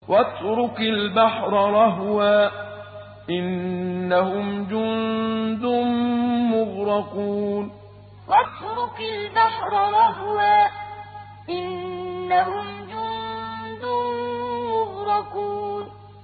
وَاتْرُكِ الْبَحْرَ رَهْوًا ۖ إِنَّهُمْ جُندٌ مُّغْرَقُونَ وَاتْرُكِ الْبَحْرَ رَهْوًا ۖ إِنَّهُمْ جُندٌ مُّغْرَقُونَ